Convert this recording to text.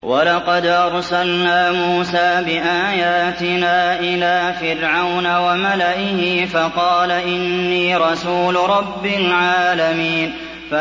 وَلَقَدْ أَرْسَلْنَا مُوسَىٰ بِآيَاتِنَا إِلَىٰ فِرْعَوْنَ وَمَلَئِهِ فَقَالَ إِنِّي رَسُولُ رَبِّ الْعَالَمِينَ